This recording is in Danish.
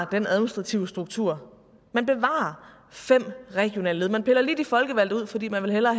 den administrative struktur man bevarer fem regionale led man piller lige de folkevalgte ud fordi man hellere